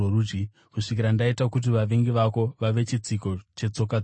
kusvikira ndaita kuti vavengi vako vave chitsiko chetsoka dzako.” ’